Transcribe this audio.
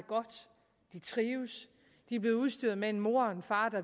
trives de er blevet udstyret med en mor og en far